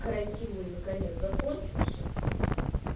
карантин мой наконец закончился